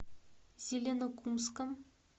зеленокумском